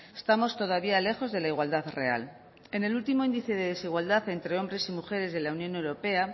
estamos todavía lejos de la igualdad real en el último índice de desigualdad entre hombres y mujeres de la unión europea